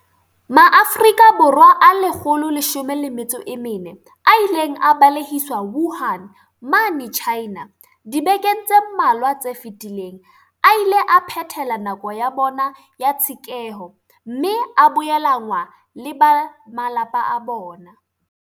Maafrika Borwa a 114 a ileng a balehiswa Wuhan mane China dibekeng tse mmalwa tse fetileng a ile a phethela nako ya bona ya tshekeho mme a boelanngwa le ba malapa a bona.